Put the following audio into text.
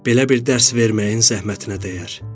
Belə bir dərs verməyin zəhmətinə dəyər.